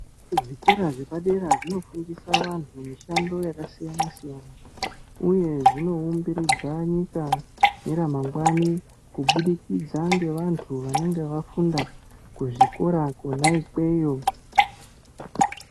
Zvikora zvepadera zvinofundisa vantu mishando yakasiyana-siyana uye zvinoumbiridza nyika neramangwani kubudikidza ngevantu vanenge vafunda kuzvikora kona ikweyo.